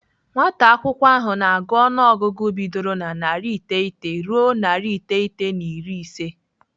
Nwata akwụkwọ ahụ na-agụ ọnụọgụgụ bidoro na narị iteghete ruo narị iteghete na iri ise.